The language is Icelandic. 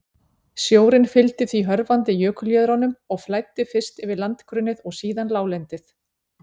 Sjórinn fylgdi því hörfandi jökuljöðrunum og flæddi fyrst yfir landgrunnið og síðan láglendið.